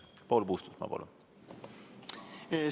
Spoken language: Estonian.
Paul Puustusmaa, palun!